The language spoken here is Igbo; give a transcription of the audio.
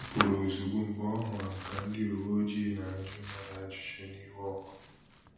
Ọ pụrụ̀ ozugbò mgbe ọ hụrụ ka ndị ụ̀wẹ̀ọjịị na-ajụ mmadụ ajụjụ n'iwe ọkụ